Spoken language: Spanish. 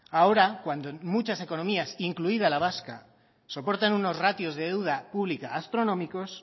ahora cuando muchas economías incluida la vasca soportan unos ratios de deuda pública astronómicos